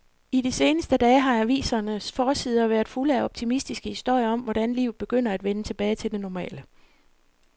I de seneste dage har avisernes forsider været fulde af optimistiske historier om, hvordan livet begynder at vende tilbage til det normale.